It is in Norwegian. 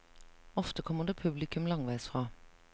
Ofte kommer det publikum langveis fra.